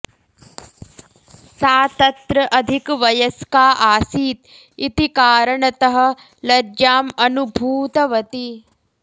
सा तत्र अधिकवयस्का आसीत् इति कारणतः लज्जाम् अनुभूतवती